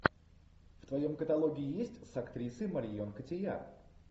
в твоем каталоге есть с актрисой марион котийяр